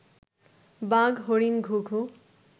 বাঘ, হরিণ, ঘুঘু